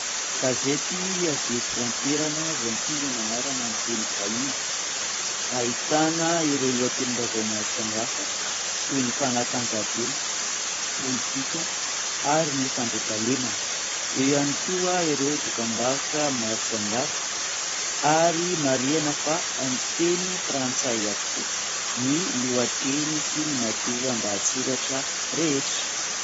Gazety avy eto an-toerana izay mitondra ny anarana amin'ny teny vahiny. Ahitana ireo lohatenim-baovao maro samihafa toy ny fanatanjahatena, politika ary ny fandriampahalemana. Eo ihany koa ireo dokam-barotra maro samihafa ary marihina fa amin'ny teny frantsay avokoa ny lohateny sy ny matoan-dahasoratra rehetra.